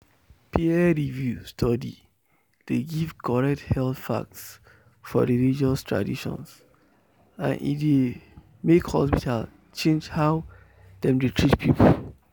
peer-reviewed study dey give correct health facts for religious tradition and e dey make hospital change how dem dey treat people.